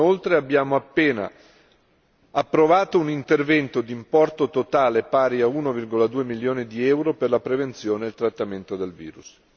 Inoltre, abbiamo appena approvato un intervento di importo totale pari a 1,2 milioni di euro, per la prevenzione e il trattamento del virus.